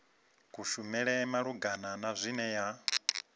kushumele malugana na zwine ya